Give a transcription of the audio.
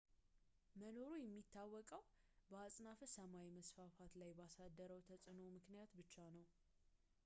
መኖሩ የሚታወቀው በአጽናፈ ሰማይ መስፋፋት ላይ ባሳደረው ተጽዕኖ ምክንያት ብቻ ነው